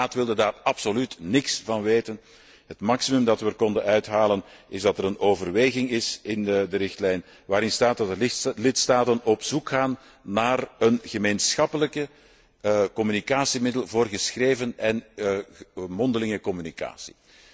De Raad wilde daar absoluut niks van weten. Het maximum dat we eruit konden halen, is dat er een overweging in de richtlijn komt waarin staat dat de lidstaten op zoek gaan naar een gemeenschappelijk communicatiemiddel voor geschreven en mondelinge communicatie.